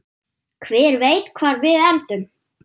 Hver veit hvar við endum?